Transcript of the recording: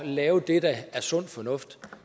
lave det der er sund fornuft